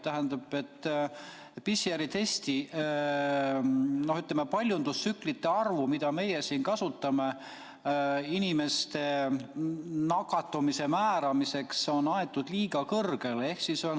PCR-testi, ütleme, paljundustsüklite arv, mida meie siin kasutame inimeste nakatumise määramiseks, on aetud liiga kõrgele.